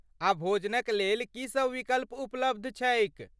आ भोजनक लेल की सभ विकल्प उपलब्ध छैक?